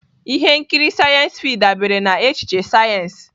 Ihe nkiri Sc-fi dabere na echiche sayensị.